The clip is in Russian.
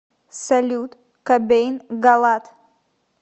салют кобейн галат